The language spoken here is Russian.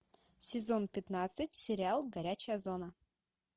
сезон пятнадцать сериал горячая зона